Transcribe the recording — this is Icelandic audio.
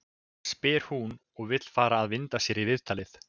spyr hún svo og vill fara að vinda sér í viðtalið.